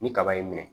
Ni kaba y'i minɛ